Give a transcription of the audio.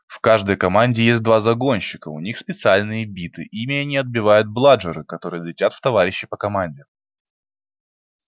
в каждой команде есть два загонщика у них специальные биты ими они отбивают бладжеры которые летят в товарищей по команде